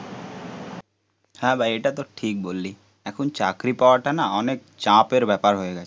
হ্যাঁ ভাই এটা তো ঠিক বললি, এখন চাকরি পাওয়াটা না অনেক চাপের ব্যাপার হয়ে গেছে